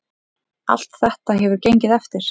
Allt þetta hefur gengið eftir.